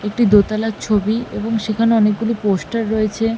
একটি দোতলার ছবি এবং সেখানে অনেকগুলি পোস্টার রয়েছে ।